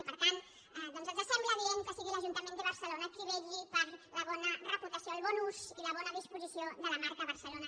i per tant ens sembla adient que sigui l’ajuntament de barcelona qui vetlli per la bona reputació el bon ús i la bona disposició de la marca barcelona